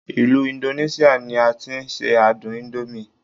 ilu Indonesia ni a ti n se adun indomie